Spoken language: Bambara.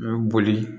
U bɛ boli